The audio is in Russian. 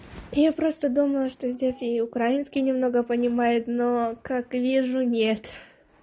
я просто думала что здесь и украинский немного понимают но как вижу нет